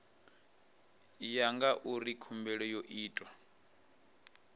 ya ngauri khumbelo yo itwa